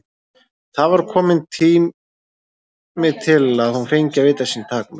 Það var kominn tími til að hún fengi að vita sín takmörk.